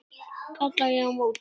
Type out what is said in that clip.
kalla ég á móti.